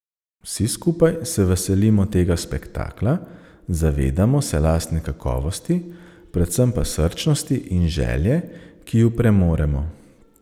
Vsi skupaj se veselimo tega spektakla, zavedamo se lastne kakovosti, predvsem pa srčnosti in želje, ki ju premoremo.